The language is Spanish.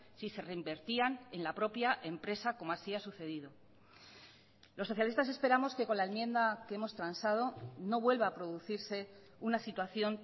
si se reinvertían en la propia empresa como así ha sucedido los socialistas esperamos que con la enmienda que hemos transado no vuelva a producirse una situación